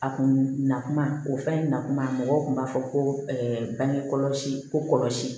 A kun na kuma o fɛn na kuma mɔgɔw kun b'a fɔ ko bange kɔlɔsi ko kɔlɔsi